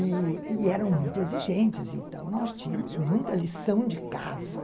E eram muito exigentes, então nós tínhamos muita lição de casa.